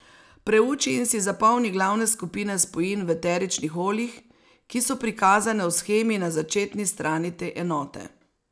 Preuči in si zapomni glavne skupine spojin v eteričnih oljih, ki so prikazane v shemi na začetni strani te enote.